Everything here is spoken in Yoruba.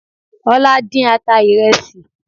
Ọlá dín ata ìrẹsì